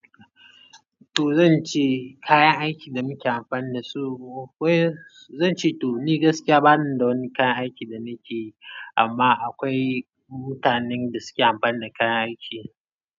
To zan ce kayan aikin da muke amfani da su, ko zan ce to ni gaskiya bani da wani kayan aikin da nake yi amma akwai mutanen da suke amfani da kayan aiki.